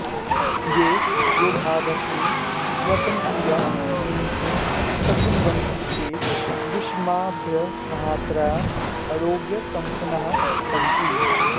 ये योगाभ्यासेन श्वसनक्रियां नियन्तुं शक्नुवन्ति ते विस्मयावहमात्रया आरोग्यसम्पन्नाः सन्ति